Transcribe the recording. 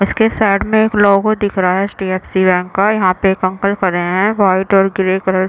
इसके साइड में एक लोगो दिख रहा है एच.डी.एफ.सी बैंक का यहाँ पे एक अंकल खड़े है व्हाइट और ग्रे कलर --